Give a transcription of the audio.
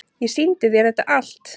Ég sýndi þér þetta allt.